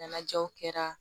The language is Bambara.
Ɲɛnajɛw kɛra